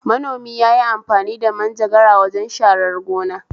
Manomi yayi amfani manjagara wajen sharar gona